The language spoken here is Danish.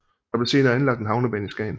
Der blev senere anlagt en havnebane i Skagen